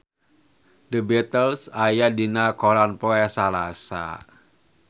The Beatles aya dina koran poe Salasa